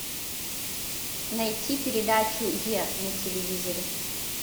найти передачу е на телевизоре